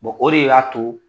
o de y'a to